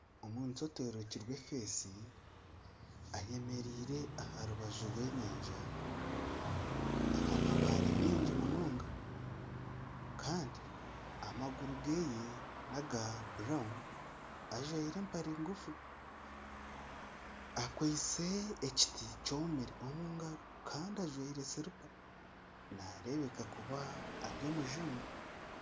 Omuntu atarikurebeka aha maisho ayemereiee aha rubaju rw'enyanja aha mabaare mingi munonga kandi amaguru ge niga burawunu. Ajwire empare ngufu, akwiste ekiti kyomire omu ngaro kandi ajwire siripa. Nareebeka kuba ari omujungu